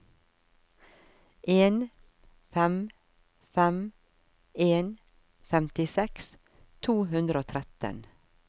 en fem fem en femtiseks to hundre og tretten